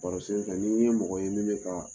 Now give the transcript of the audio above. Barosen fɛ n'i n ye mɔgɔ ye min bɛ ka